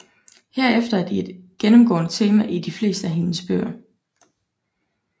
Herefter er de et gennemgående tema i de fleste af hendes bøger